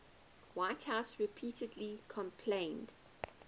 whitehouse repeatedly complained